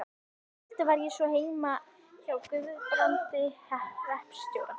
Um kvöldið var ég svo heima hjá Guðbrandi hreppstjóra.